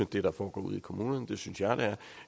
det der foregår ude i kommunerne det synes jeg